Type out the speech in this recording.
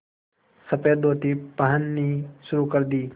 सफ़ेद धोती पहननी शुरू कर दी